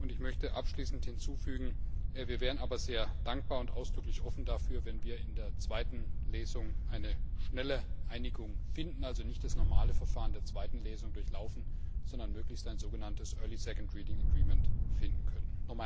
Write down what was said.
Ich möchte abschließend hinzufügen, dass wir sehr dankbar und ausdrücklich offen dafür wären, wenn wir in der zweiten Lesung eine schnelle Einigung finden würden, also nicht das normale Verfahren der zweiten Lesung durchlaufen, sondern möglichst ein so genanntes early second reading agreement finden könnten.